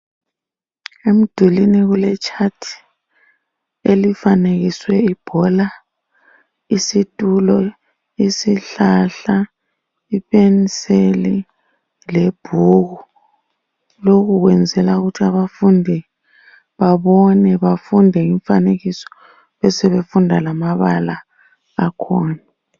Emdulini kule chart elifanekiswe ibhola, isitulo, isihlahla, ipenseli lebhuku. Lokhu kwenzelwa ukuthi abafundi babone, bafunde imifanekiso besebefunda lamabala akhona.